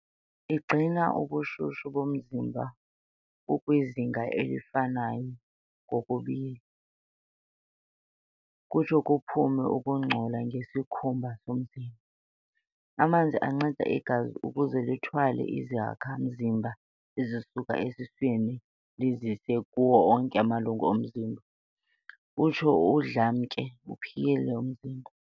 Igcina ubushushu bomzimba bukwizinga elifanayo ngokubila, kutsho kuphume ukungcola ngesikhumba somzimba. Amanzi anceda igazi ukuze lithwale izakha-mzimba ezisuka esiswini lizise kuwo onke amalungu omzimba, utsho udlamke uphile umzimba.